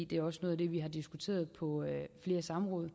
det er også noget af det vi har diskuteret på flere samråd